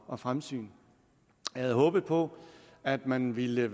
og fremsyn jeg havde håbet på at man ville